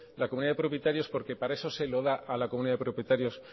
la comunidad de propietarios porque para eso se lo da a la comunidad de propietarios